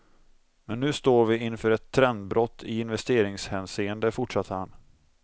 Men nu står vi inför ett trendbrott i investeringshänseende, fortsatte han.